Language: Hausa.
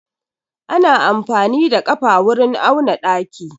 Ana amfani da ƙafa wurin auna ɗaki.